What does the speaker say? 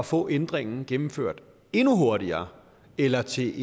få ændringen gennemført endnu hurtigere eller til